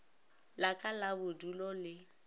la ka la bodulo le